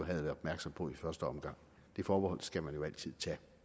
været opmærksom på i første omgang det forbehold skal man jo altid tage